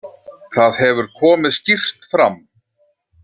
Það hefur komið skýrt fram.